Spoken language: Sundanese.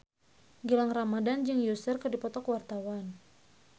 Gilang Ramadan jeung Usher keur dipoto ku wartawan